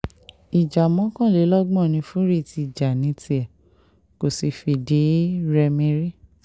ìjà mọ́kànlélọ́gbọ̀n ni fury ti jà ní tiẹ̀ kò sì fìdí-rẹmi rí